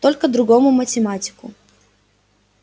только другому математику